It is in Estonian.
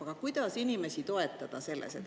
Aga kuidas inimesi toetada selles?